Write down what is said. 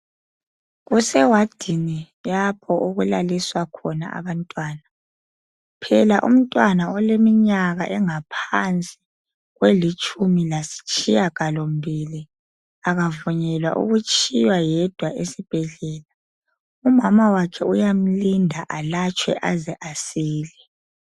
Kuse wadini lapho okulaliswa khona abantwana phela umntwana oleminyaka engaphansi kwelitshumi lasitshiya galo mbili akavunyelwa ukutshiywa yedwa esibhedlela. Umamawakhe uyamlinda alatshwe aze asile.